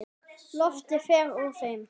Loftið fer úr þeim.